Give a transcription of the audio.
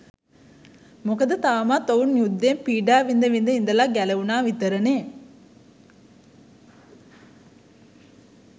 මොකද තවමත් ඔවුන් යුද්ධයෙන් පීඩා විඳ විඳ ඉඳලා ගැලවුණා විතරනෙ.